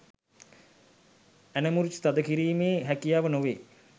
ඇන මුරිච්චි තද කිරීමේ හැකියාව නොවේ